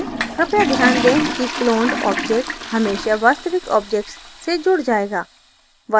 कृपया ध्यान दें कि cloned object हमेशा वास्तविक object से जुड जायेगा